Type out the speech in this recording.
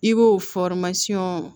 I b'o